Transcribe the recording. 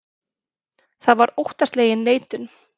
Það var óttaslegin neitun.